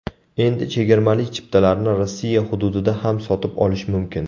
Endi chegirmali chiptalarni Rossiya hududida ham sotib olish mumkin.